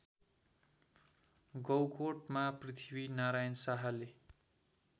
गौकोटमा पृथ्वीनारायण शाहले